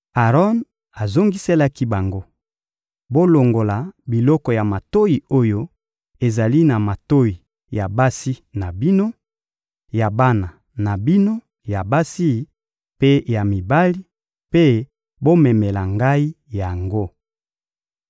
Aron azongiselaki bango: — Bolongola biloko ya matoyi oyo ezali na matoyi ya basi na bino, ya bana na bino ya basi mpe ya mibali, mpe bomemela ngai yango.